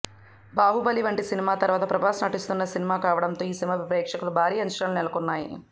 బాహుబలి వంటి సినిమా తరువాత ప్రభాస్ నటిస్తోన్న సినిమా కావడంతో ఈ సినిమాపై ప్రేక్షకుల్లో భారీ అంచనాలు నెలకొన్నాయి